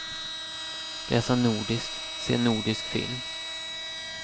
Läsa nordiskt, se nordisk film.